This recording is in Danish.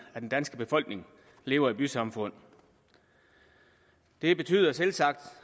af den danske befolkning lever i bysamfund det betyder selvsagt